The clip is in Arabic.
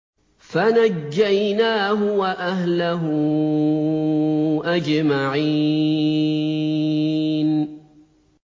فَنَجَّيْنَاهُ وَأَهْلَهُ أَجْمَعِينَ